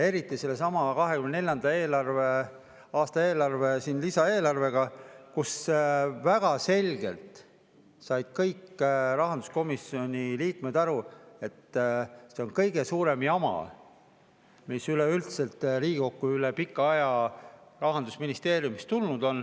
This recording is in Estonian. Eriti sellesama 2024. aasta lisaeelarve puhul, kui kõik rahanduskomisjoni liikmed said väga selgelt aru, et see on kõige suurem jama, mis üleüldse Riigikokku üle pika aja Rahandusministeeriumist tulnud on.